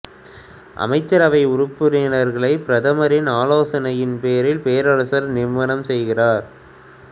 அமைச்சரவை உறுப்பினர்களைப் பிரதமரின் ஆலோசனையின் பேரில் பேரரசர் நியமனம் செய்கிறார்